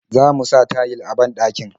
Zamu sa tayil a banɗakin.